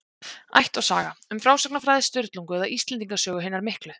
Ætt og saga: Um frásagnarfræði Sturlungu eða Íslendinga sögu hinnar miklu.